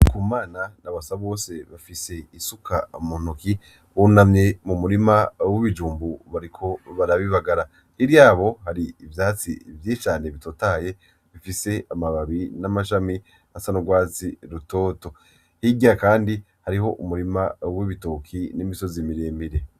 Ndikumana na Basabose bafise isuka mu ntoke, bunamye mu murima w'ibijumbu bariko bara bibagara. Hirya yabo hari ivyatsi vyinshi cane bitotahaye, bifise amababi n'amashami asa n'urwatsi rutoto. Hirya kandi hariho umurima w'ibitoki n'imisozi miremire.